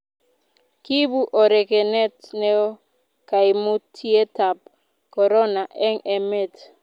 kiibu orokenet neoo kaimutietab korono eng' emet